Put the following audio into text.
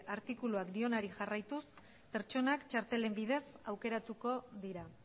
artikuluak dionari jarraituz pertsonak txartelen bidez aukeratuko dira